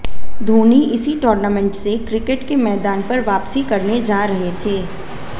धोनी इसी टूर्नामेंट से क्रिकेट के मैदान पर वापसी करने जा रहे थे